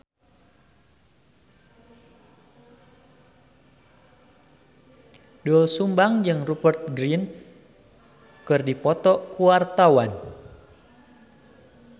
Doel Sumbang jeung Rupert Grin keur dipoto ku wartawan